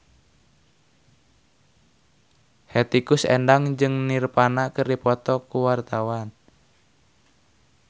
Hetty Koes Endang jeung Nirvana keur dipoto ku wartawan